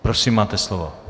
Prosím, máte slovo.